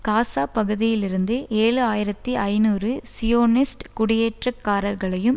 காசா பகுதியிலிருந்து ஏழு ஆயிரத்தி ஐநூறு சியோனிஸ்ட் குடியேற்றக்காரர்களையும்